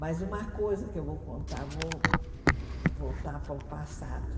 Mas uma coisa que eu vou contar, vou voltar para o passado.